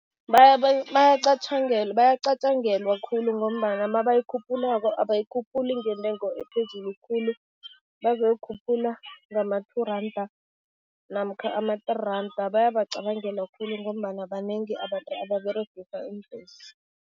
Bayacatjangelwa khulu ngombana mabayikhuphulako, abayikhuphuli ngentengo ephezulu khulu. Bazoyikhuphula ngama-two randa namkha ama-three randa, bayabacabangela khulu ngombana banengi abantu ababeregisa iimbhesi.